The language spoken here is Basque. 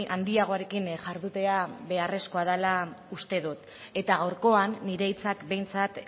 handiagorekin jardutea beharrezkoa dela uste dut eta gaurkoan nire hitzak behintzat